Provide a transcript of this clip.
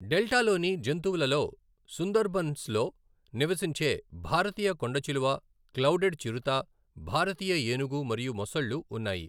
డెల్టాలోని జంతువులలో సుందర్బన్స్ లో నివసించే భారతీయ కొండచిలువ, క్లౌడెడ్ చిరుత, భారతీయ ఏనుగు మరియు మొసళ్ళు ఉన్నాయి.